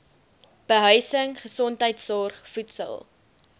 behuising gesondheidsorg voedsel